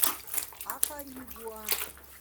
акаригуа